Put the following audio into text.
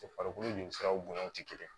Farikolo jolisiraw bonyaw tɛ kelen ye